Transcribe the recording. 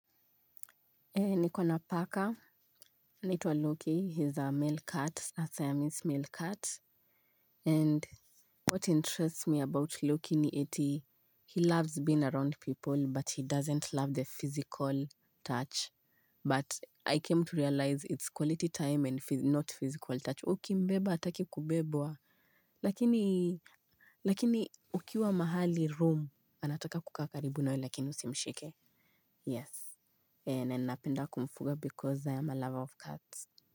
Nikona paka, nitwa Loki, he's a male cat, a Siamese male cat. And what interests me about Loki ni eti, he loves being around people but he doesn't love the physical touch. But I came to realize it's quality time and not physical touch. Uki mbeba ataki kubebwa, lakini, lakini ukiwa mahali room, anataka kukaa karibu nawe lakini usimshike. Yes. Nenapenda kumfuga because I am a lover of cats.